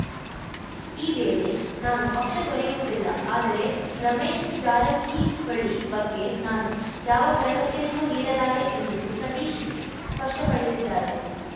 ಈ ವೇಳೆ ನಾನು ಪಕ್ಷ ತೊರೆಯುವುದಿಲ್ಲ ಆದರೆ ರಮೇಶ್‌ ಜಾರಕಿಹೊಳಿ ಬಗ್ಗೆ ನಾನು ಯಾವ ಭರವಸೆಯನ್ನೂ ನೀಡಲಾರೆ ಎಂದು ಸತೀಶ್‌ ಸ್ಪಷ್ಟಪಡಿಸಿದ್ದಾರೆ